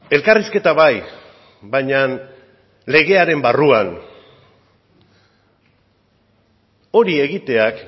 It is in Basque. elkarrizketa bai baina legearen barruan hori egiteak